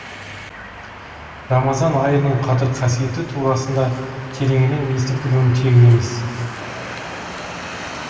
рамазан айының қадір қасиеті турасында тереңінен естіп білуім тегін емес